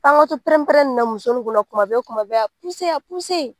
Fɔ an ka to pɛrɛnpɛrɛnna muso ninnu kunna kuma bɛɛ kuma bɛɛ a .